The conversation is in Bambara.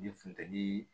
Ni funteni